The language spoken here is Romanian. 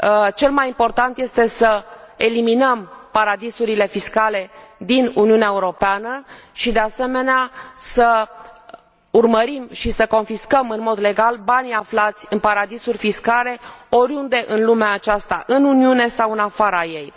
Cel mai important este să eliminăm paradisurile fiscale din Uniunea Europeană și, de asemenea, să urmărim și să confiscăm în mod legal banii aflați în paradisuri fiscale oriunde în lumea aceasta, în Uniune sau în afara ei.